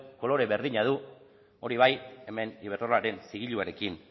kolore berdina du hori bai hemen iberdrolaren zigiluarekin